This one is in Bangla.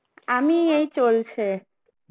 আমি এই চলছে.